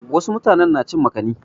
Wasu mutanen na cin makani.